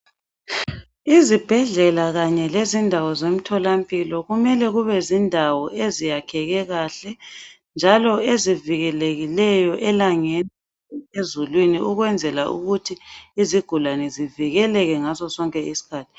Izibhedlela kanye lezindawo zomtholampilo kumele kubezindawo eziyakheke kahle njalo ezivikelekileyo elangeni ezulwini ukwenzela ukuthi izigulane zivikeleke ngaso sonke isikhathi